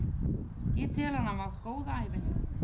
Ég tel hann hafa átt góða ævi.